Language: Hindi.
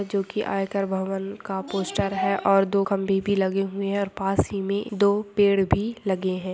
जो कि आयकर भवन का पोस्ट है और दो कम खभे लगे हुए हैं और पास ही में दो पेड़ भी लगे हैं।